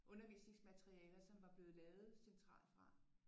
Undervisningsmaterialer som var blevet lavet centralt fra